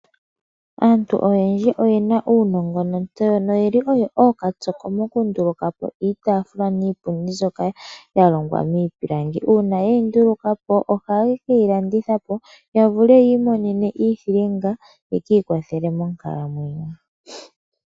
Aantu oyendji oyena uunongo nontseyo noyeli oyo ookatsoko mokundulukapo iitaafula niipundi mbyoka yalongwa miipilangi. Uuna ye yi ndulukapo oha ye keyilandithapo yavule yi imonene iithilinga yeki ikwatelela monkalamwenyo.